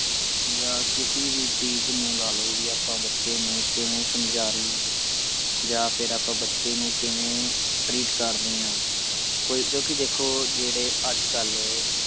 ਜਾ ਕਿਸੇ ਵੀ ਚੀਜ ਨੂੰ ਲਾ ਲੋ ਵੀ ਆਪਾਂ ਬੱਚੇ ਨੂੰ ਕਿਵੇਂ ਸਮਝਾ ਰਹੇ ਆ ਜਾ ਫਿਰ ਆਪਾਂ ਬੱਚੇ ਨੂੰ ਕਿਵੇਂ treat ਕਰ ਰਹੇ ਆ ਕੋਈ ਕਿਓਂਕਿ ਦੇਖੋ ਜਿਹੜੇ ਅੱਜਕਲ